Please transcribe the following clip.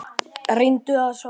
Reyndum að sofna.